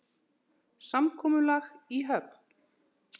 Samkomulag í höfn?